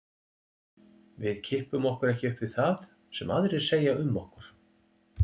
Við kippum okkur ekki upp við það sem aðrir segja um okkur.